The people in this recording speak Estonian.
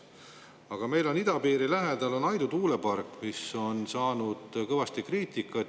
Aga meil on idapiiri lähedal Aidu tuulepark, mis on saanud kõvasti kriitikat.